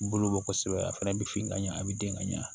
Bolo bɔ kosɛbɛ a fana bi fin ka ɲɛ a bɛ den ka ɲɛ